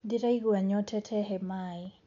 Ndĩraigua nyotete he Maĩ